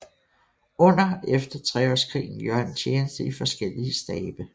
Under og efter Treårskrigen gjorde han tjeneste i forskellige stabe